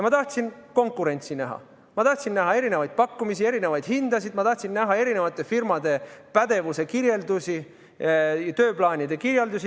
Ma tahtsin konkurentsi näha, ma tahtsin näha erinevaid pakkumisi, erinevaid hindasid, ma tahtsin näha eri firmade pädevuse kirjeldusi, tööplaanide kirjeldusi.